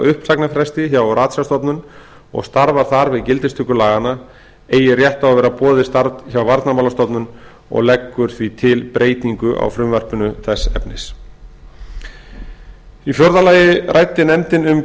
uppsagnarfresti hjá ratsjárstofnun og starfar þar við gildistöku laganna eigi rétt á að vera boðið starf hjá varnarmálastofnun og leggur því til breytingu á frumvarpinu þess efnis í fjórða lagi ræddi nefndin um